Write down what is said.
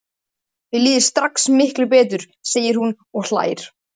Mér líður strax miklu betur, segir hún og hlær.